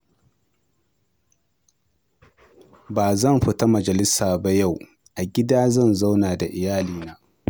Ba zan fita majalisa ba yau, a gida zan zauna da iyalina